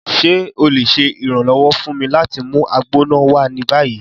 Ṣe o le ṣe iranlọwọ fun mi lati mu Agbona wa ni bayi?